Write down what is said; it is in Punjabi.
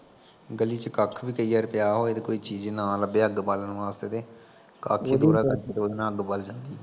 ਗਲੀ ਚ ਕੱਖ ਵੀ ਕਈ ਵਾਰੀ ਪਿਆ ਹੋਵੇ ਤੇ ਕੋਈ ਚੀਜ਼ ਨਾ ਲੱਭੇ ਅੱਗ ਬਾਲਣ ਵਾਸਤੇ ਤੇ ਉਹਦੇ ਨਾਲ਼ ਅੱਗ ਬਲ ਜਾਂਦੀ ਐ